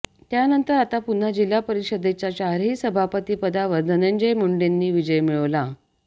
त्यानंतर आता पुन्हा जिल्हा परिषदेच्या चारही सभापती पदावर धनंजय मुंडेंनी विजय मिळवला